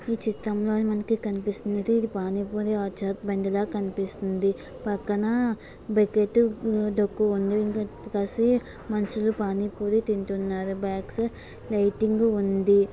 చిత్రంలోని మనకి కనిపిస్తుంది పక్కన పెగెటివ్ పానీ పూరి తింటున్నారు